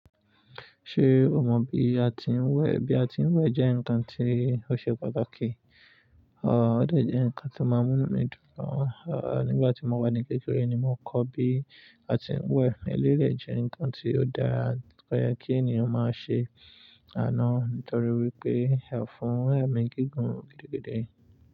Ṣé o mọ bí a tin wè? Bí a tin wè jẹ́ ǹkan tí ó ṣe pàtàkì, ò ó dẹ̀ jẹ́ ǹkan to máa n mú'nu mi dùn gan. À, nígbà tí mo wà ní kékeré ni mo kọ́ bí a tin wè ẹlẹ́yi de jẹ́ ǹkan tí ó dara, tó yẹ kí ènìyàn máa ṣe àná nítorí wípé ó fún ẹ̀mí gígùn gidigidi.